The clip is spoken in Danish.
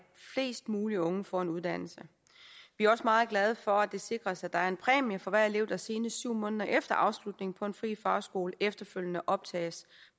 flest muligt unge får en uddannelse vi er også meget glade for at det sikres at der er en præmie for hver elev der senest syv måneder efter afslutningen på en fri fagskole efterfølgende optages